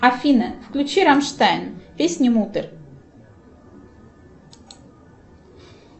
афина включи раммштайн песня муттер